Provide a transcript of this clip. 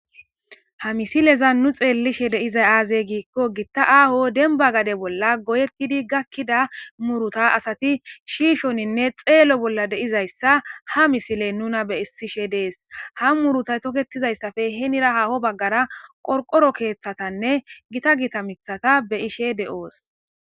Ha misilezan nu xelishin dizay aze gikko gita aho denba gade bolla goyeti gakida muruta asati shishanne xelo De'izaysa ha misiley nuna besishe des ha murutaye toketidaysappe henira haho bagara qorworo kethatanne gita gita mithata be'ishe de'eoso